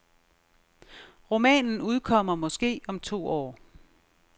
Romanen udkommer måske om to år.